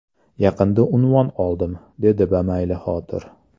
Yaqinda unvon oldim, dedi bamaylixotir.